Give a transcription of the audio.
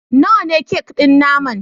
Nawa ne kek ɗin naman